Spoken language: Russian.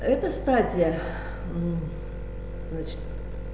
эта стадия значит